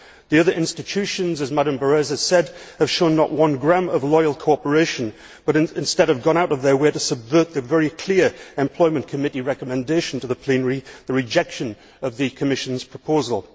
The other institutions, as Mme Berès has said, have shown not one gram of loyal cooperation but instead have gone out of their way to subvert the very clear Employment Committee recommendation to the plenary the rejection of the Commission's proposal.